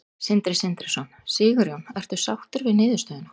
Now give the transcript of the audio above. Sindri Sindrason: Sigurjón, ertu sáttur við niðurstöðuna?